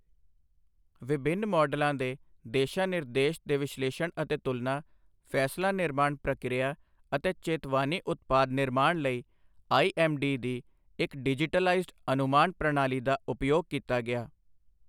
ਵਿਭਿੰਨ ਮਾਡਲਾਂ ਦੇ ਦਿਸ਼ਾ ਨਿਰਦੇਸ਼ ਦੇ ਵਿਸ਼ਲੇਸ਼ਣ ਅਤੇ ਤੁਲਨਾ, ਫੈਸਲਾ ਨਿਰਮਾਣ ਪ੍ਰਕਿਰਿਆ ਅਤੇ ਚੇਤਵਾਨੀ ਉਤਪਾਦ ਨਿਰਮਾਣ ਲਈ ਆਈਐੱਮਡੀ ਦੀ ਇੱਕ ਡਿਜੀਟਲਾਈਜ਼ਡ ਅਨੁਮਾਨ ਪ੍ਰਣਾਲੀ ਦਾ ਉਪਯੋਗ ਕੀਤਾ ਗਿਆ।